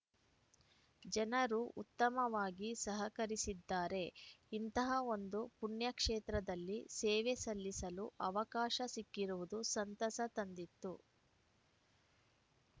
ಜನರು ಉತ್ತಮವಾಗಿ ಸಹಕರಿಸಿದ್ದಾರೆ ಇಂತಹ ಒಂದು ಪುಣ್ಯಕ್ಷೇತ್ರದಲ್ಲಿ ಸೇವೆ ಸಲ್ಲಿಸಲು ಅವಕಾಶ ಸಿಕ್ಕಿರುವುದು ಸಂತಸ ತಂದಿತ್ತು